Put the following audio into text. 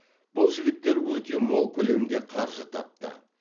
бұл жігіттер өте мол көлемде қаржы тапты